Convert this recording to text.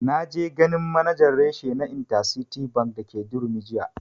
Na je ganin manajan reshe na intercity bank dake durumi jiya